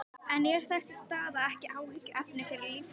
Nasavængirnir stigu enn á ný sinn dans og hann sagði